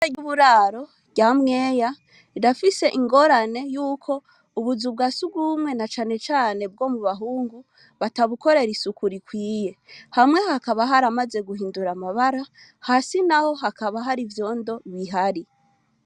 Ishure ryuburaro rya mweya rirafise ingorane yuko ubuzu bwasugumwe na cane cane bwomubahungu batabukorera isuku rikwiye hamwe hakaba haramaze guhindura amabara hasi naho hakaba harivyondo bihari